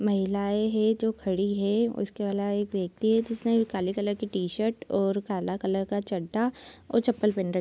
महिलाये है जो खडी है उसके अलावा एक व्यक्ति है जिसने काले कलर की टी-शर्ट और काला कलर का चड्डा और चप्पल पहन र --